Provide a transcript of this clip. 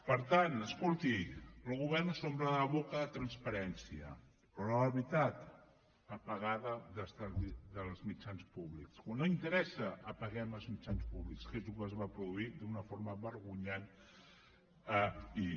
per tant escolti el govern s’omple la boca de transparència però a l’hora de la veritat apagada dels mitjans públics quan no interessa apaguem els mitjans públics que és el que es va produir d’una forma vergonyant ahir